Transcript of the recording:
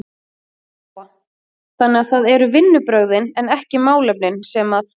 Lóa: Þannig að það eru vinnubrögðin en ekki málefnin sem að?